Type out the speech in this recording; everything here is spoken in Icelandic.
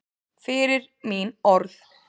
Fyrir mín orð.